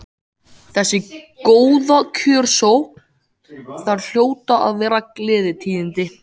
Þessi góða kjörsókn, það hljóta að vera gleðitíðindi?